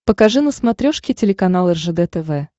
покажи на смотрешке телеканал ржд тв